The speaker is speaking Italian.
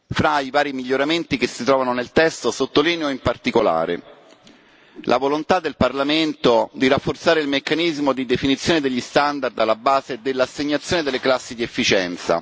Fra i vari miglioramenti che si trovano nel testo sottolineo, in particolare, la volontà del Parlamento di rafforzare il meccanismo di definizione degli standard alla base dell'assegnazione delle classi di efficienza